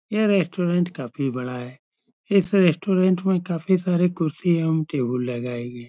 यह रेस्टोरेंट काफी बड़ा है | इस रेस्टोरेंट में काफी सारी कुर्सियां एवं टेबल लगाये गये हैं |